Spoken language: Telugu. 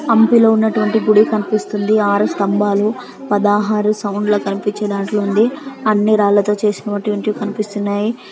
అణుకు లో ఉన్నటువంటి గుడి కనిపిస్తుంది. ఆరు స్తంబలు పదహారు సౌండ్ ల కనిపించే దాంటి లో ఉంది. అన్నీ రాళ్ళ తకో చేసినటువంటి కనిపిస్తున్నాయి.